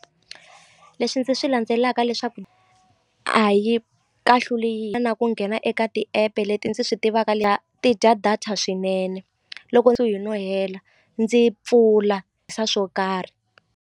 Leswi ndzi swi landzelaka leswaku a yi kahluli yi na ku nghena eka ti-app leti ndzi swi tivaka ti dya data swinene loko ndzo no hela ndzi pfula swo karhi.